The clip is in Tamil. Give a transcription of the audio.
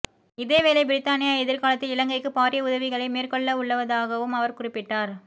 இதேவேளை பிரித்தானியா எதிர்காலத்தில் இலங்கைக்கு பாரிய உதவிகளை மேற்கொள்ளவுள்ளதாகவும் அவர் குறிப்பிட்டார்